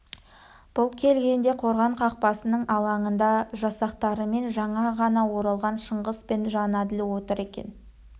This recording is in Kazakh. бұл келгенде қорған қақпасының алаңында жасақтарымен жаңа ғана оралған шыңғыс пен жәнәділ отыр екен